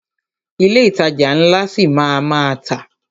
Ilé ìtajà ńlá ṣi máa a má tà.